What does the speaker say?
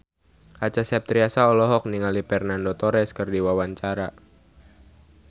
Acha Septriasa olohok ningali Fernando Torres keur diwawancara